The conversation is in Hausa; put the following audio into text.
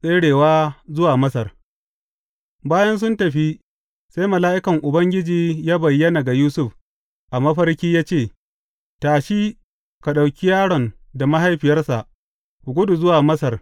Tserewa zuwa Masar Bayan sun tafi, sai mala’ikan Ubangiji ya bayyana ga Yusuf a mafarki ya ce, Tashi, ka ɗauki yaron da mahaifiyarsa, ku gudu zuwa Masar.